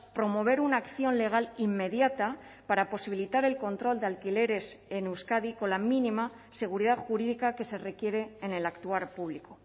promover una acción legal inmediata para posibilitar el control de alquileres en euskadi con la mínima seguridad jurídica que se requiere en el actuar público